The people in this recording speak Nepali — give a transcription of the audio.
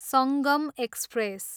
सङ्गम एक्सप्रेस